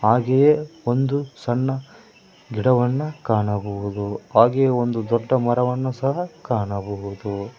ಹಾಗೆಯೇ ಒಂದು ಸಣ್ಣ ಗಿಡವನ್ನ ಕಾಣಬಹುದು ಹಾಗೆ ಒಂದು ದೊಡ್ಡ ಮರವನ್ನು ಸಹ ಕಾಣಬಹುದು.